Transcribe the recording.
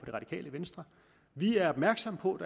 det radikale venstre vi er opmærksomme på at